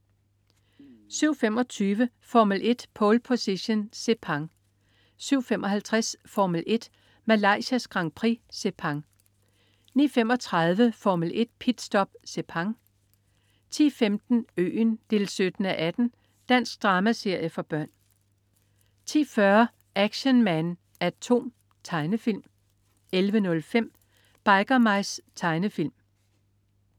07.25 Formel 1: Pole Position. Sepang 07.55 Formel 1: Malaysias Grand Prix. Sepang 09.35 Formel 1: Pit Stop. Sepang 10.15 Øen 17:18. Dansk dramaserie for børn 10.40 Action Man A.T.O.M. Tegnefilm 11.05 Biker Mice. Tegnefilm